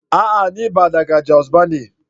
A'a! ni ba daga jos bane.